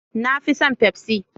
Na fi son pepsi.